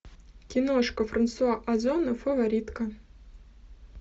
киношка франсуа озона фаворитка